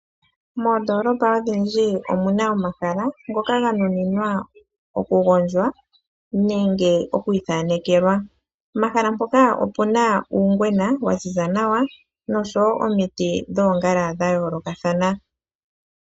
Moondolopa odhindji omuna omahala ngoka ganuninwa oku gandjwa nenge okwii thanekelwa. Pomahala mpoka opuna uungwena waziza nawa noshowo omiti dhoongala dhayoolokathana.